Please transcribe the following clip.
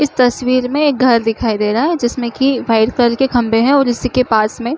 इस तस्वीर में एक घर दिखाई दे रहा है जिसमे की वाइट कलर के खम्बे है और इसी के पास में--